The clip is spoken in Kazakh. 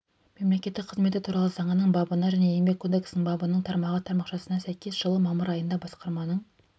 мемлекеттік қызметі туралы заңының бабына және еңбек кодексінің бабының тармағы тармақшасына сәйкес жылы мамыр айында басқарманың